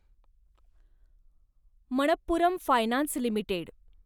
Manappuram finance limited